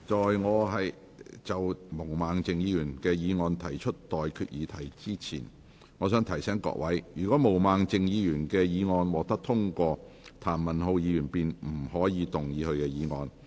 在我就毛孟靜議員的議案提出待決議題之前，我想提醒各位，若毛孟靜議員的議案獲得通過，譚文豪議員便不可動議他的議案。